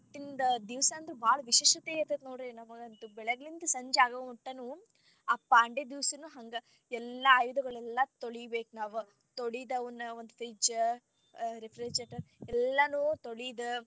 ಆವತ್ತಿಂದ ದಿವಸಾ ಅನ್ತ್ರು ಬಾಳ ವಿಶೇಷತೆ ಇರತೇತಿ ನೋಡ್ರಿ ನಮಗ ಅಂತೂ ಬೆಳಗಿಂದ ಸಂಜಿ ಅಗೋಮಟನು ಆ ಪಾಂಡೆ ದಿವಸನು ಹಾಂಗಾ ಎಲ್ಲಾ ಆಯುಧಗಳೆಲ್ಲಾ ತೊಳಿಬೇಕ ನಾವ ತೊಳಿದ ಅವನ್ನ fridge, refrigerator ಎಲ್ಲಾ ತೊಳಿದ.